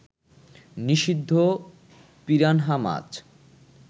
নিষিদ্ধ পিরানহা মাছ